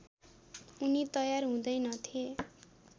उनी तयार हुँदैनथे